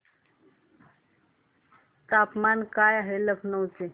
तापमान काय आहे लखनौ चे